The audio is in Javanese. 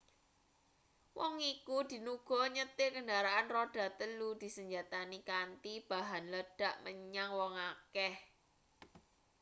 wong iku dinuga nyetir kendharaan rodha-telu disenjatani kanthi bahan ledhak menyang wong akeh